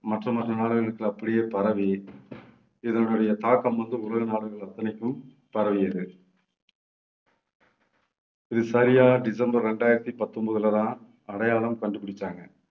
மற்ற மற்ற நாடுகளுக்கு அப்படியே பரவி இதனுடைய தாக்கம் வந்து உலக நாடுகள் அத்தனைக்கும் பரவியது இது சரியா டிசம்பர் இரண்டாயிரத்தி பத்தொன்பதுலதான் அடையாளம் கண்டுபிடிச்சாங்க.